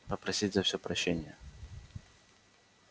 попросить за все прощения